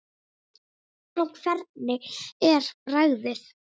Og hvernig er bragðið?